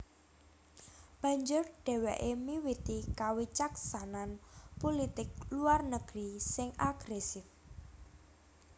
Banjur dhèwèké miwiti kawicaksanan pulitik luar negeri sing agrèsif